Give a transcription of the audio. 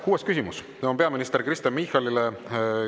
Kuues küsimus on peaminister Kristen Michalile.